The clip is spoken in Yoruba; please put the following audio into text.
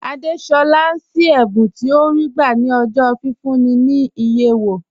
Àdésolá ń ṣí ẹ̀bùn tí ó rí gbà ní ọjọ́ fífúnni ní iye owó